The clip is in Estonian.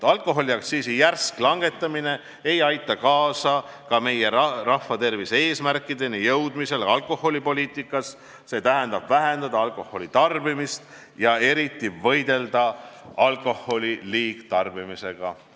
Alkoholiaktsiisi järsk langetamine ei aita alkoholipoliitikas kaasa ka rahvatervise eesmärkidele jõudmisele, st alkoholitarbimise vähendamisele ja eriti alkoholi liigtarbimisega võitlemisele.